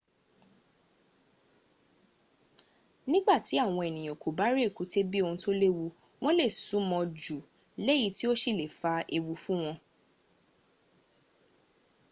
nígbàtí àwọn ènìyàn kò bá rí èkúté bí ohun tó léwu wọ́n lè sún mọ́ ọn jù léyìí tó sì le fa ewu fún wọn